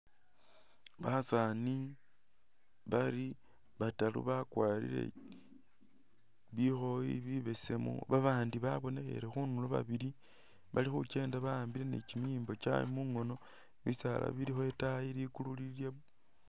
Basani bali bataru bakwarile bikhoyi bibesemu babandi babonekhele khundulo babili bali khukyenda bahambile ni kyimiyimbo kyawe mungono bisaala bilikho itayi likulu lili lye blue.